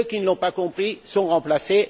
Ceux qui ne l'ont pas compris sont remplacés